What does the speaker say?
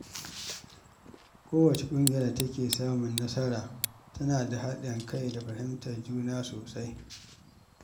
Kowace ƙungiya da take samun nasara tana da haɗin kai da fahimtar juna sosai.